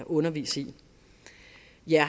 undervise i